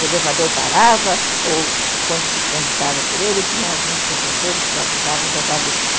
O elevador parava ou, quando se transitava por ele, tinha alguns professores que abusavam das alunas.